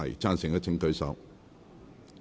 贊成的請舉手。